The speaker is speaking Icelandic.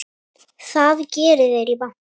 Það geri þeir í banka.